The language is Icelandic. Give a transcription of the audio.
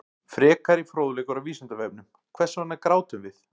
Frekari fróðleikur á Vísindavefnum: Hvers vegna grátum við?